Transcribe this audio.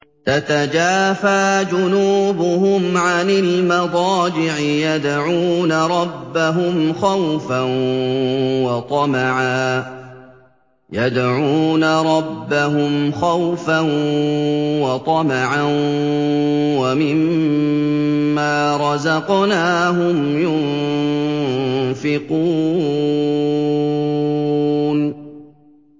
تَتَجَافَىٰ جُنُوبُهُمْ عَنِ الْمَضَاجِعِ يَدْعُونَ رَبَّهُمْ خَوْفًا وَطَمَعًا وَمِمَّا رَزَقْنَاهُمْ يُنفِقُونَ